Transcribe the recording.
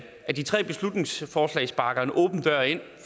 at de tre beslutningsforslag sparker en åben dør ind